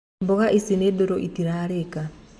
Mboga ici nĩ ndũrũ itirarĩka.